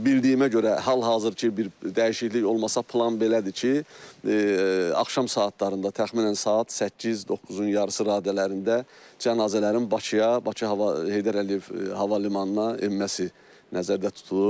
Bildiyimə görə, hal-hazırki bir dəyişiklik olmasa plan belədir ki, axşam saatlarında təxminən saat 8, 9-un yarısı radələrində cənazələrin Bakıya, Bakı hava Heydər Əliyev hava limanına enməsi nəzərdə tutulur.